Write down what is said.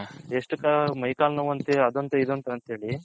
ಎಷ್ಟ್ ಮೈ ಕಾಲ್ ನೋವು ಅದಂತೆ ಇದಂತೆ ಹೇಳಿ